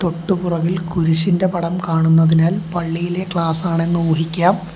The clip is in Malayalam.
തൊട്ടു പുറകിൽ കുരിശിന്റെ പടം കാണുന്നതിനാൽ പള്ളിയിലെ ക്ലാസ്സാണെന്ന് ഊഹിക്കാം.